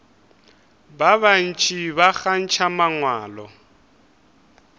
ba bantši ba kgantšha mangwalo